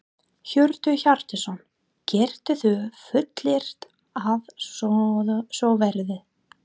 Hjörtur Hjartarson: Geturðu fullyrt að svo verði?